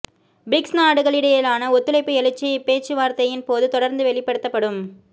BRICS நாடுகளிடையிலான ஒத்துழைப்பு எழுச்சி இப்பேச்சுவார்த்தையின் போது தொடர்ந்து வெளிப்படுத்தப்படும்